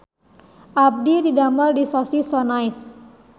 Abdi didamel di Sosis So Nice